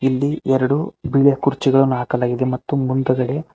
ಇಲ್ಲಿ ಎರಡು ಬಿಳಿಯ ಕುರ್ಚಿಗಳನ್ನು ಹಾಕಲಾಗಿದೆ ಮತ್ತು ಮುಂದಗಡೆ--